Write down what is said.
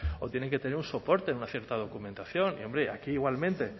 o tienen que tener un soporte de una cierta documentación hombre y aquí igualmente